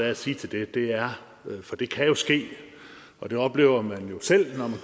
at sige til det er for det kan jo ske og det oplever man jo selv